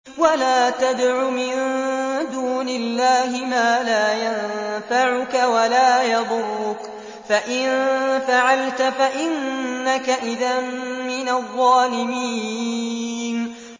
وَلَا تَدْعُ مِن دُونِ اللَّهِ مَا لَا يَنفَعُكَ وَلَا يَضُرُّكَ ۖ فَإِن فَعَلْتَ فَإِنَّكَ إِذًا مِّنَ الظَّالِمِينَ